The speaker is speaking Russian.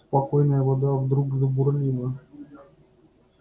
спокойная вода вдруг забурлила